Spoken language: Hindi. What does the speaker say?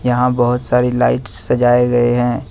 यहां बहुत सारी लाइट्स सजाए हुए हैं।